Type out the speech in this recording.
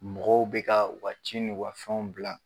Mɔgɔw bɛ ka u ka ci n'u ka fɛnw bila